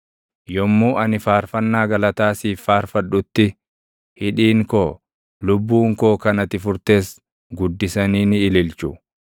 Yommuu ani faarfannaa galataa siif faarfadhutti, hidhiin koo, lubbuun koo kan ati furtes guddisanii ni ililchu.